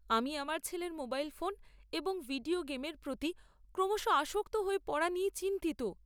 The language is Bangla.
আমি আমার ছেলের মোবাইল ফোন এবং ভিডিও গেমের প্রতি ক্রমশ আসক্ত হয়ে পড়া নিয়ে চিন্তিত।